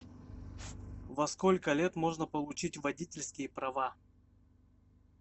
во сколько лет можно получить водительские права